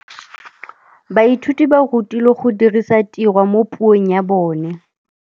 Baithuti ba rutilwe go dirisa tirwa mo puong ya bone.